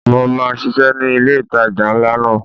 Mo máa ṣisẹ́ ni ilé ìtajà ńlá náà.